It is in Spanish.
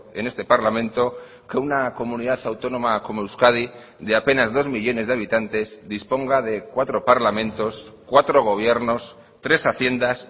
en este parlamento que una comunidad autónoma como euskadi de apenas dos millónes de habitantes disponga de cuatro parlamentos cuatro gobiernos tres haciendas